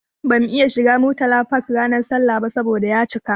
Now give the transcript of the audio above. Bamu iya shiga Murtala Park ranar sallah ba saboda ya cika.